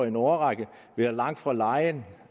en årrække være langt fra lejen